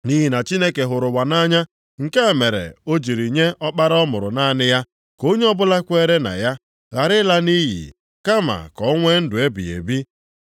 Nʼihi na Chineke hụrụ ụwa nʼanya, nke a mere o jiri nye Ọkpara ọ mụrụ naanị ya, ka onye ọbụla kweere na ya ghara ịla nʼiyi, kama ka o nwee ndụ ebighị ebi.